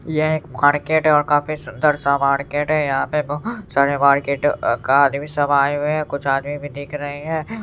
यह एक मार्केट है और काफी सुन्दर सा मार्केट है यहा पे बहुत सारे मार्केट का आदमी सब आए हुए है कुछ आदमी भी दिख रहे है।